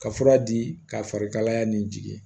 Ka fura di ka fari kalaya ni jigin